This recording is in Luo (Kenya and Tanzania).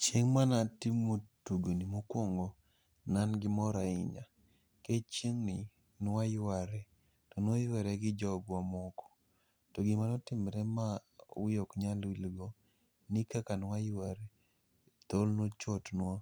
Chieng' mana timo tugoni mokwaong ne an gi mor ahinya. Kech chieng'ni nwayware, to nwayware gi jogwa ma moko. To gima notimre ma wiya ok nyal wil go, ni kaka nwayware, thol nochotnwa